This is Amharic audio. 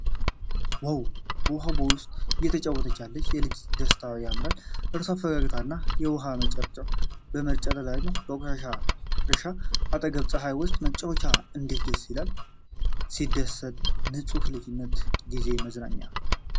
ዋው! በውሃ ቦይ ውስጥ እየተጫወተች ያለች የልጅ ደስታ በጣም ያምራል። የእርሷ ፈገግታና የውሃው መርጨት ልዩ ነው። ከበቆሎ እርሻ አጠገብ በፀሐይ ውስጥ መጫወት እንዴት ደስ ይላል። ሲያስደስት! ንፁህ የልጅነት ጊዜ መዝናኛ።